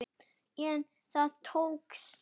En það tókst.